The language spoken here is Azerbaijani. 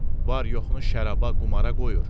Var-yoxunu şəraaba, qumara qoyur.